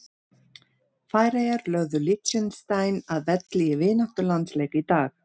Færeyjar lögðu Liechtenstein að velli í vináttulandsleik í dag.